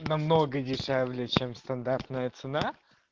намного дешевле чем стандартная цена